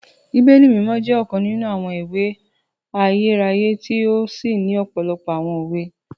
Bíbélì Mimọ jẹ ọkan ninu awọn ìwé ayérayé ti o sí ni òpòlopò awọn òwe